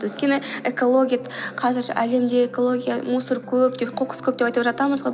өйткені экология қазір әлемде экология мусор көп деп қоқыс көп деп айтып жатамыз ғой